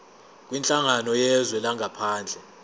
kwinhlangano yezwe langaphandle